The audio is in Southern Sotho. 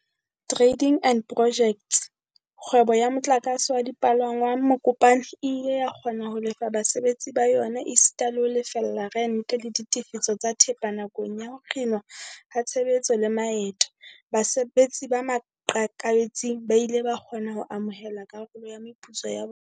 Trading and Pojects, kgwebo ya motlakase wa dipalangwang Mokopane, e ile ya kgona ho lefa basebetsi ba yona esita le ho lefella rente, le ditefiso tsa thepa nakong ya ho kginwa ha tshebetso le maeto. Basebetsi ba maqakabetsing ba ile ba kgona ho amohela karolo ya meputso ya bona.